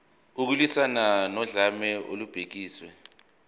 ukulwiswana nodlame olubhekiswe